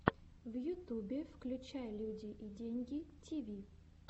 в ютубе включай люди и деньги тиви